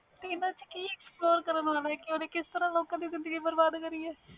ਇਹਨਾਂ ਚ ਕਿ explore ਕਰਨ ਵਾਲਾ ਵ ਓਹਨੇ ਕਿਸ ਤਰਾਂ ਲੋਕਾਂ ਦੀ ਜ਼ਿੰਦਗੀ ਖਰਾਬ ਕੀਤੀ ਹੋਈ ਵ